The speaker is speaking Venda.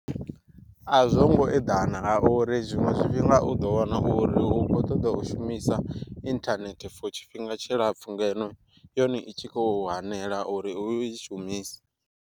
A zwo ngo eḓana nga uri zwiṅwe zwifhinga u ḓo wana uri u kho ṱoḓa u shumisa inthanethe for tshifhinga tshilapfhu, ngeno yone i tshi khou hanela uri u i shumisa.